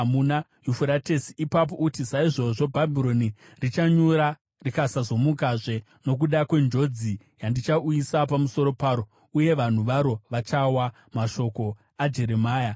Ipapo uti, ‘Saizvozvo Bhabhironi richanyura rikasazomukazve nokuda kwenjodzi yandichauyisa pamusoro paro. Uye vanhu varo vachawa.’ ” Mashoko aJeremia anogumira pano.